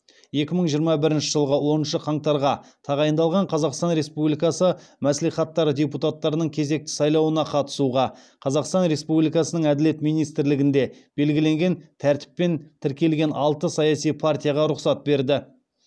екі мың жиырма бірінші жылғы оныншы қаңтарға тағайындалған қазақстан республикасы мәслихаттары депутаттарының кезекті сайлауына қатысуға қазақстан республикасының әділет министрлігінде белгіленген тәртіппен тіркелген алты саяси партияға рұқсат берді